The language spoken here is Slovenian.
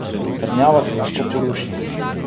Trdnjava se lahko poruši.